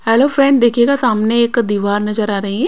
Hello friend देखिएगा सामने एक दीवार नजर आ रही है।